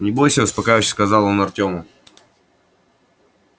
не бойся успокаивающе сказал он артёму